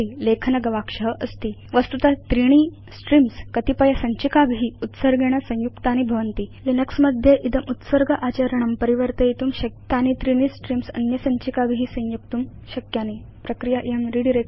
उपरि लेखन गवाक्ष अस्ति वस्तुत त्रीणि स्ट्रीम्स् कतिपयसञ्चिकाभि उत्सर्गेण संयुक्तानि भवन्ति किन्तु लिनक्स मध्ये इदम् उत्सर्ग आचरणं परिवर्तयितुं शक्यं वयम् इमानि त्रीणि स्ट्रीम्स् अन्य सञ्चिकाभि संयोक्तुं शक्नुम प्रक्रिया इयं रिडायरेक्शन